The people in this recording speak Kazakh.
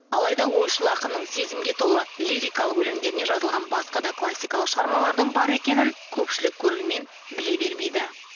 алайда ойшыл ақынның сезімге толы лирикалық өлеңдеріне жазылған басқа да классикалық шығармалардың бар екенін көпшілік көрермен біле бермейді